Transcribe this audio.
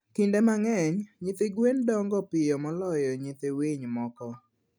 Kinde mang'eny, nyithi gwen dongo piyo moloyo nyith winy moko.